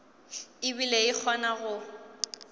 e bile e kgona go